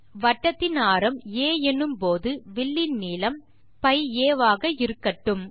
வட்டத்தின் ஆரம் ஆ எனும்போது வில்லின் நீளம் π a ஆக இருக்கட்டும்